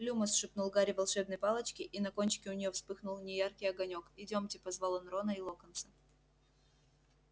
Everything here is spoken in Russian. люмос шепнул гарри волшебной палочке и на кончике у неё вспыхнул неяркий огонёк идёмте позвал он рона и локонса